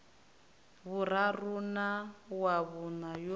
vhuraru na wa vhuṋa yo